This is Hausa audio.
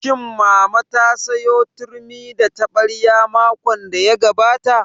Shin mama ta sayo turmi da taɓarya makon da ya gabata?